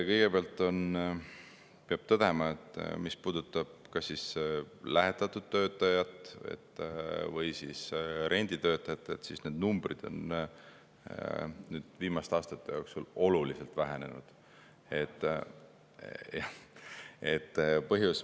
Kõigepealt peab tõdema, et mis puudutab kas lähetatud töötajaid või renditöötajaid, siis need numbrid on viimaste aastate jooksul oluliselt vähenenud.